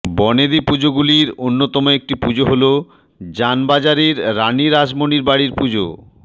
বনেদি পুজোগুলির অন্যতম একটি পুজো হল জানবাজারের রানি রাসমনির বাড়ির পুজো